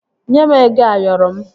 Nye m ego Ayoro m!